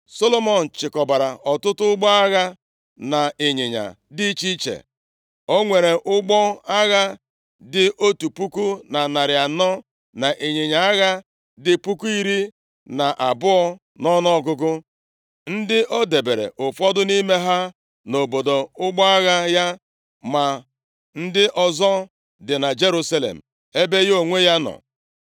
Solomọn chịkọbara ọtụtụ ụgbọ agha na ịnyịnya dị iche iche. O nwere ụgbọ agha dị otu puku na narị anọ na ịnyịnya agha dị puku iri na abụọ nʼọnụọgụgụ, ndị o debere ụfọdụ nʼime ha nʼobodo ụgbọ agha ya ma ndị ọzọ dị na Jerusalem ebe ya onwe ya nọ.